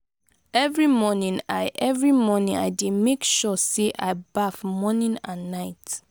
every morning i every morning i dey make sure sey i baff morning and night.